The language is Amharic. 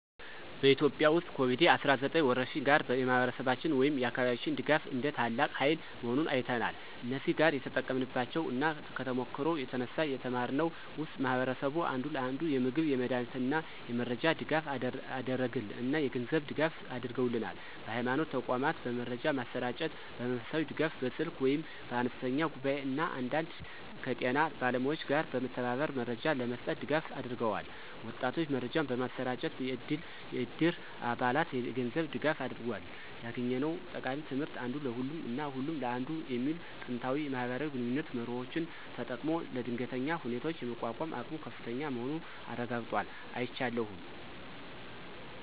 በኢትዮጵያ ውስጥ ከኮቪድ-19 ወረርሽኝ ጋር፣ የማህበረሰባችን ወይም የአካባቢያችን ድጋፍ እንደ ታላቅ ሃይል መሆኑን አይተናል። እዚህ ጋር የተጠቀምንባቸው እና ከተሞክሮው የተነሳ የተማርነው ውስጥ ማህበረሰቡ አንዱ ለአንዱ የምግብ፣ የመድሃኒት እና የመረጃ ድጋፍ አደረገል እና የገንዝብ ድጋፍ አድርገውልናል። በሀይማኖት ተቋማት በመረጃ ማሰራጨት፣ በመንፈሳዊ ድጋፍ (በስልክ ወይም በአነስተኛ ጉባኤ) እና አንዳንዴ ከጤና ባለሙያዎች ጋር በመተባበር መረጃ ለመስጠት ድጋፍ አድርገዋል። ወጣቶች መረጃን በማሰራጨት፣ የዕድር አባላት የገንዝብ ድጋፋ አድርጎል። ያገኘነው ጠቃሚ ትምህርት (አንዱ ለሁሉም እና ሁሉም ለአንዱ) የሚሉ ጥንታዊ የማህበራዊ ግንኙነት መርሆዎችን ተጠቅሞ ለድንገተኛ ሁኔታዎች የመቋቋም አቅሙ ከፍተኛ መሆኑን አረጋግጧል። አይቻለሁም።